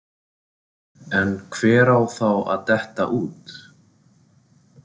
En hver á þá að detta út?